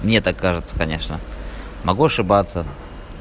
мне так кажется конечно могу ошибаться